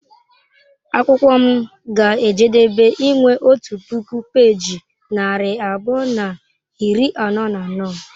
Akwụkwọ m ga-ejedebe inwe otu puku peeji narị abụọ na iri anọ na anọ.